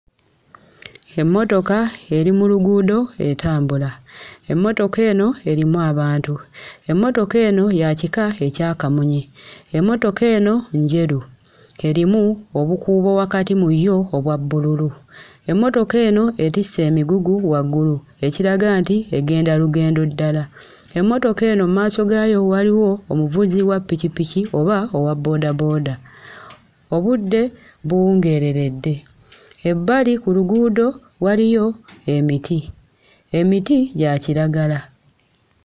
Emmotoka eri mu luguudo etambula, emmotoka eno erimu abantu, emmotoka eno ya kika ekya kamunye, emmotoka eno njeru; erimu obukuubo wakati mu yo obwa bbululu. Emmotoka eno etisse emigugu waggulu, ekiraga nti egenda lugendo ddala, emmotoka eno mu maaso gaayo waliwo omuvuzi wa ppikipiki oba owabboodabooda, obudde buwungeereredde, ebbali ku luguudo waliyo emiti; emiti gya kiragala.